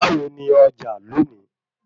Báwo ní Ọjà lónìí